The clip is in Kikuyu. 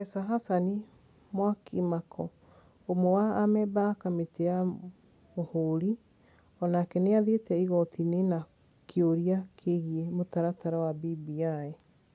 Profesa Hassan Mwakimako ũmwe wa amemba a kamĩtĩ ya Mũhũri, o nake nĩ athire igoti-inĩ na kĩũria kĩgiĩ mũtaratara wa BBI.